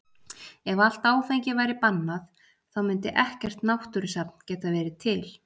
Ef allt áfengi væri bannað þá mundi ekkert náttúrusafn geta verið til.